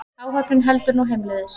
Áhöfnin heldur nú heimleiðis